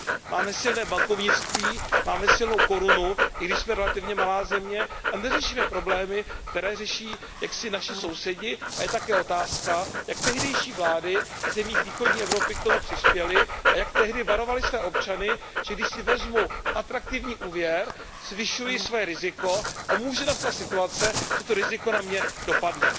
Máme silné bankovnictví, máme silnou korunu, i když jsme relativně malá země, a neřešíme problémy, které řeší naši sousedi. A je také otázka, jak tehdejší vlády v zemích východní Evropy k tomu přispěly a jak tehdy varovaly své občany, že když si vezmou atraktivní úvěr, zvyšují své riziko a může nastat situace, že to riziko na ně dopadne.